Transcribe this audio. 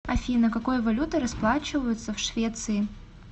афина какой валютой расплачиваются в швеции